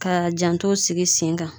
Ka janto sigi sen kan